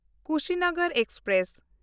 Kushinagar express